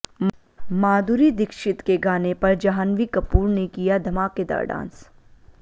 माधुरी दीक्षित के गाने पर जाह्नवी कपूर ने किया धमाकेदार डांस